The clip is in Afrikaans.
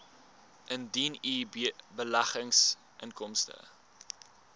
indien u beleggingsinkomste